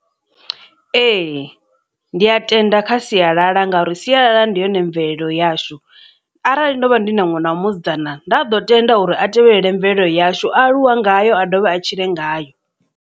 Ee ndi a tenda kha sialala ngauri sialala ndi yone mvelelo yashu arali ndo vha ndi na ṅwana wa musidzana nda ḓo tenda uri a tevhelele mvelelo yashu a aluwa ngayo a dovhe a tshile ngayo.